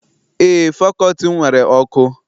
Eé, fakọlti m nwere ọkụ.